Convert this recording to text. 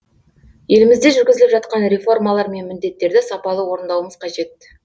елімізде жүргізіліп жатқан реформалар мен міндеттерді сапалы орындауымыз қажет